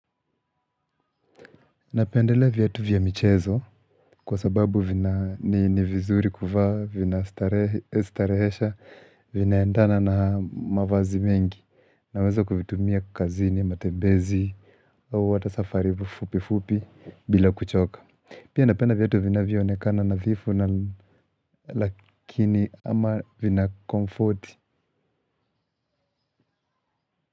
Napendelea viatu vya michezo kwa sababu vina ni vizuri kuvaa, vina starehesha, vinaendana na mavazi mengi. Naweza kuvitumia kazini, matembezi, hata safari fupi fupi bila kuchoka. Pia napenda viatu vinavyo onekana nadhifu na lakini ama vina comforti.